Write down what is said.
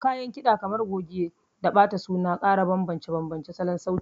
Kayan kiɗa kamar goge da bata suna ƙara bambance-bambancen salon sauti.